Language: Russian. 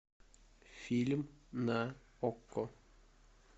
фильм на окко